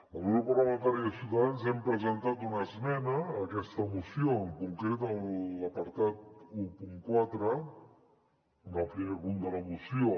el grup parlamentari de ciutadans hem presentat una esmena a aquesta moció en concret a l’apartat catorze en el primer punt de la moció